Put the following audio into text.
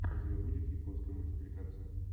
у тебя будет японская мультипликация